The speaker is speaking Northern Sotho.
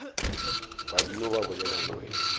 badimo ba bolela le wena